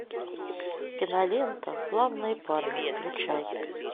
кинолента славные парни включай